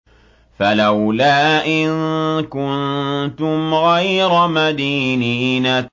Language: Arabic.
فَلَوْلَا إِن كُنتُمْ غَيْرَ مَدِينِينَ